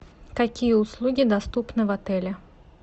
какие услуги доступны в отеле